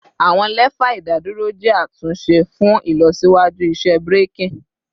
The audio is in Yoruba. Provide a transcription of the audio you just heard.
Awọn lefa idaduro jẹ atunṣe fun ilọsiwaju iṣẹ braking